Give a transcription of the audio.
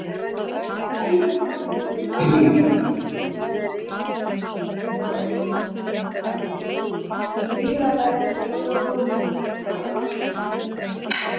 sýna aðgát við garðvinnu